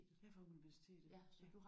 Jeg er fra universitetet også